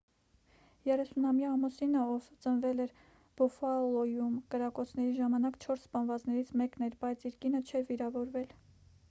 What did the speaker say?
30-ամյա ամուսինը ով ծնվել էր բուֆալոյում կրակոցների ժամանակ չորս սպանվածներից մեկն էր բայց իր կինը չէր վիրավորվել